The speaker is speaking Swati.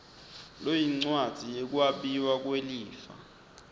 loyincwadzi yekwabiwa kwelifa